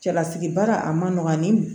Cɛlasigi baara a man nɔgɔn ani